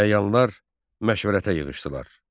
Əyanlar məşvərətə yığışdılar.